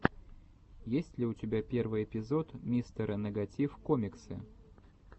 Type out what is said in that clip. есть ли у тебя первый эпизод мистера нэгатив коммиксы